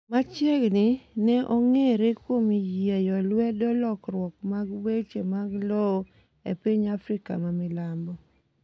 machiegni ne ong'ere kuom yieyo lwedo lokruok mag weche mag lowo e piny Afrika ma Milambo